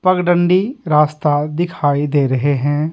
पगडंडी रास्ता दिखाई दे रहे हैं।